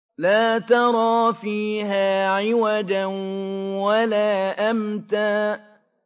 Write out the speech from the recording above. لَّا تَرَىٰ فِيهَا عِوَجًا وَلَا أَمْتًا